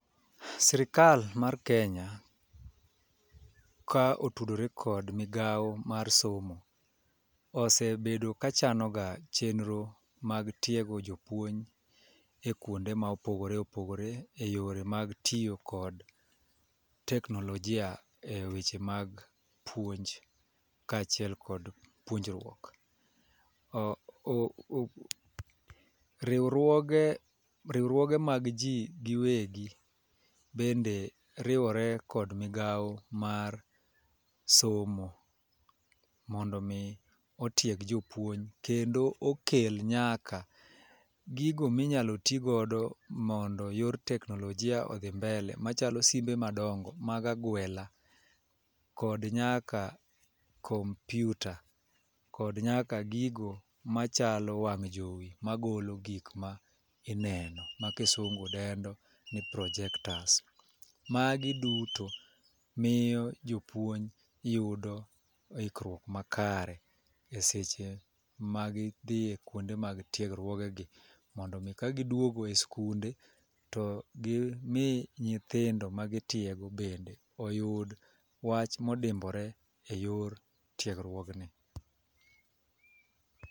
Sirikal mar Kenya ka otudore kod migawo mar somo osebedo ka chano ga chenro mag tiego jopuonj e kuonde ma opogore opogore e yore mag tiyo kod teknolojia e weche mag puonj kaachiel kod puonjruok . O riwruoge riwruoge mag jii giwegi bende riwore kod migawo mar somo mondo mi otieg jopuonj kendo okel nyaka gigo minyalo tii godo mondo eyor teknolojia odhi mbele machalo simbe madongo mag agwela kod nyaka kompiuta kod nyaka gigo machalo wang' jowi magolo gik mineno ma kisungu dendo ni projectors magi duto miyo jopuonj yudo ikruok makare e seche ma gidhi e kuonde mag tiegruogegi mondo mi ka giduogo e sikunde to gimi nyithindo ma gitiego bende oyud wach modimbore e yor tiegruogni.